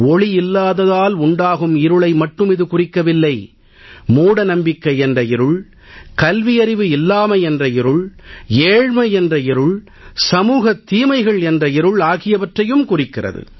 ஒளி இல்லாததால் உண்டாகும் இருளை மட்டும் இது குறிக்கவில்லை மூடநம்பிக்கை என்ற இருள் கல்வியறின்மை எனும் இருள் ஏழ்மை எனும் இருள் சமூகத் தீமைகள் எனும் இருள் ஆகியவற்றையும் குறிக்கிறது